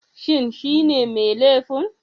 Shin shine mai laifin?